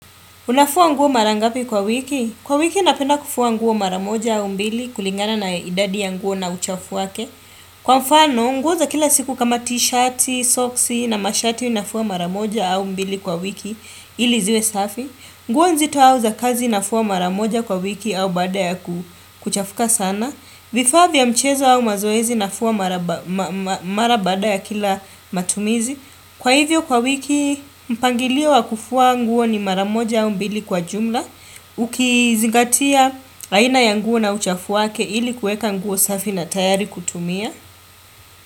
Unafua nguo mara ngapi kwa wiki? Kwa wiki napenda kufua nguo mara moja au mbili kulingana na idadi ya nguo na uchafu wake. Kwa mfano, nguo za kila siku kama t-shati, soksi na mashati nafua mara moja au mbili kwa wiki ili ziwe safi. Nguo nzito au za kazi nafua mara moja kwa wiki au baada ya kuchafuka sana. Vifaa vya mchezo au mazoezi nafua mara baada ya kila matumizi. Kwa hivyo kwa wiki, mpangilio wa kufua nguo ni mara moja au mbili kwa jumla. Ukizingatia aina ya nguo na uchafu wake ili kueka nguo safi na tayari kutumia.